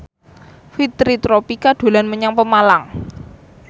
Fitri Tropika dolan menyang Pemalang